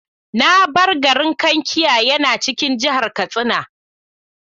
Na bar garin Kankia yana cikin jihar Katsina.